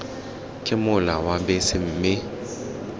ke mola wa bese mme